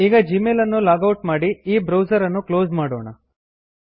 ಈಗ ಜೀಮೇಲ್ ಅನ್ನು log out ಮಾಡಿ ಈ ಬ್ರೌಸರ್ ಅನ್ನು ಕ್ಲೋಸ್ ಮಾಡೋಣ